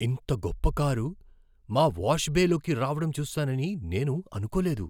ఇంత గొప్ప కారు మా వాష్ బేలోకి రావడం చూస్తానని నేను అనుకోలేదు.